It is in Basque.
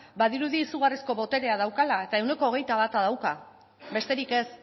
badirudi izugarrizko boterea daukala eta ehuneko hogeita bata dauka besterik ez